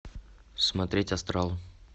смотреть астрал